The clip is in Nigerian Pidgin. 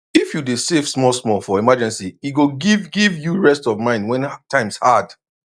if you dey save small small for emergency e go give give you rest of mind when times hard